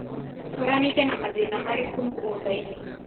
ũkoranĩte na mathĩna marĩkũ mũgũndainĩ.